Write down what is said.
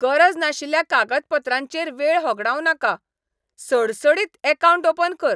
गरज नाशिल्ल्या कागदपत्रांचेर वेळ होगडाव नाका. सडसडीत अकावंट ओपन कर .